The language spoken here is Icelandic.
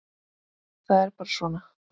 Það er bara svona.